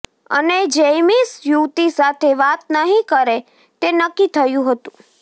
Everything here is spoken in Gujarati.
અને જૈમિશ યુવતી સાથે વાત નહીં કરે તે નક્કી થયું હતું